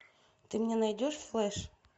ты мне найдешь флэш